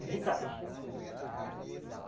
É visagem.